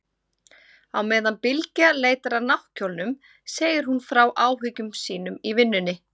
Á meðan Bylgja leitar að náttkjólnum segir hún frá áhyggjum sínum í vinnunni.